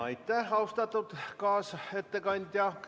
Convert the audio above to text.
Aitäh, austatud kaasettekandja!